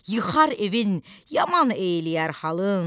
yıxar evin, yaman eyləyər halın,